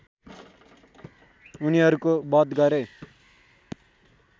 उनीहरूको वध गरे